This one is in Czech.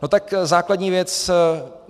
No tak základní věc.